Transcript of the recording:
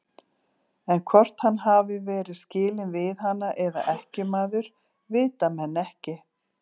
En hvort hann hafi verið skilinn við hana eða ekkjumaður, vita menn ekki.